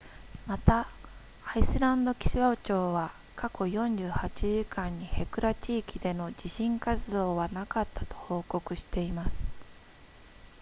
またアイスランド気象庁は過去48時間にヘクラ地域での地震活動はなかったと報告しています